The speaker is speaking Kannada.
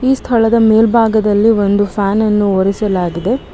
ಈ ಸ್ಥಳದ ಮೇಲ್ಬಾಗದಲ್ಲಿ ಒಂದು ಫ್ಯಾನ್ ಅನ್ನು ಉರಿಸಲಾಗಿದೆ.